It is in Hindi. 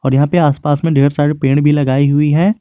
यहां पे आसपास में ढेर सारे पेड़ भी लगाई हुई है।